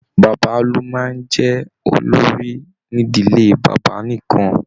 Bàbá lo máa n jẹ olórí n'ídílé bàbá nìkan.